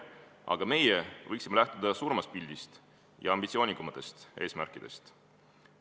Aga me võiksime lähtuda suuremast pildist ja ambitsioonikamatest eesmärkidest.